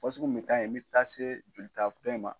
O fasugu nunnu de ka ɲi ni bɛ taa se jolita fɛn ma.